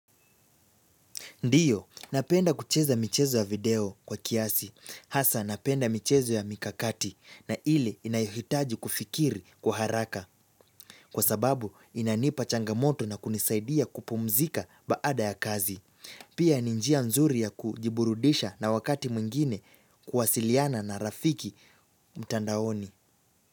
Ndiyo, napenda kucheza michezo ya video kwa kiasi. Hasa, napenda michezo ya mikakati na ile inayohitaji kufikiri kwa haraka. Kwa sababu, inanipa changamoto na kunisaidia kupumzika baada ya kazi. Pia ni njia nzuri ya kujiburudisha na wakati mwingine kuwasiliana na rafiki mtandaoni.